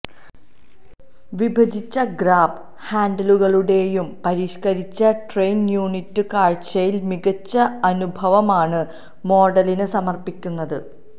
വിഭജിച്ച ഗ്രാബ് ഹാൻഡിലുകളുടെയും പരിഷ്കരിച്ച ടെയിൽ യൂണിറ്റും കാഴ്ചയിൽ മികച്ച അനുഭവമാണ് മോഡലിന് സമർപ്പിക്കുന്നത്